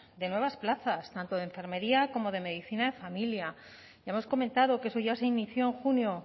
de nuevas plazas tanto de enfermería como de medicina de familia ya hemos comentado que eso ya se inició en junio